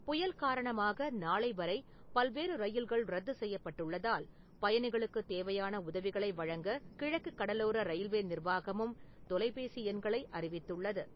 புயல் காரணமாக நாளை வரை பல்வேறு ரயில்கள் ரத்துசெய்யப்பட்டுள்ளதால், பயணிகளுக்குத் தேவையான உதவிகளை வழங்க கிழக்குக் கடலோர ரயில்வே நிர்வாகமும் தொலைபேசி எண்களை அறிவித்துள்ளது.